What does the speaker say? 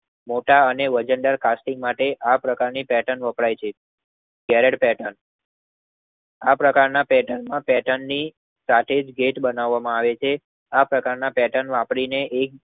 મોટા અને વજન દર કાસ્ટિંગ માટે આ પ્રકારની પેર્ટન વપરાય છે. ધેરડ પેર્ટન આ પ્રકારના પેટનમાં પેર્ટન ની સાથેજ ગેચ બનવામાં આવે હે. આ પ્રકારના પેર્ટન વાપરીને એક